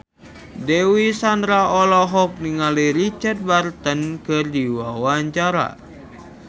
Dewi Sandra olohok ningali Richard Burton keur diwawancara